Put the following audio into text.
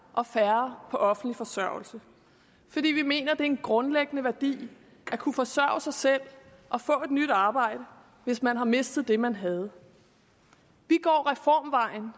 og færre på offentlig forsørgelse fordi vi mener at det er en grundlæggende værdi at kunne forsørge sig selv og få et nyt arbejde hvis man har mistet det man havde vi går reformvejen